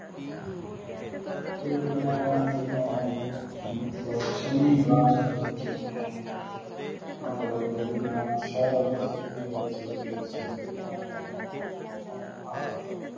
ਫਿਰ ਮੇਂ ਨਾ ਜਦੋ ਮਤਲਬ ਛਾਵੇਂ ਕਲਾਸ ਵਿਚ ਸੀ ਮਤਲਬ ਜਦੋ ਮੇਂ ਸ਼ਹਿਰ ਆਲੇ ਸਕੂਲ ਵਿਚ ਲੱਗਿਆ ਸੀ ਉਦੂ ਹਟ ਗਯਾ